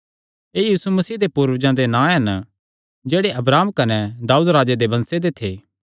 एह़ यीशु मसीह दे पूर्वजां दे नां हन जेह्ड़े अब्राहम कने दाऊद राजे दे वंशे दे थे